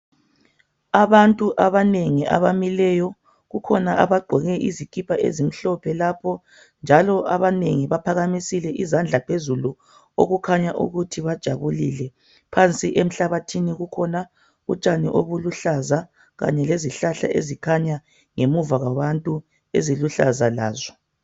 Abantu abanengi abamileyo kukhona abagqoke izikipa ezimhlophe loapho njalo abantu abanengi baphakamisile izandla phezulu okukhanya ukuthi bajabulile phansi emhlabathini kukhona utshani obuluhlaza Kanye lezihlahla ezikhanya ngemuva kwabantu eziluhlaza lazo.